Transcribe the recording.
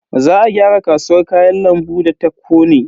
Za a gyara kasuwar Kayan lambu da ta kone.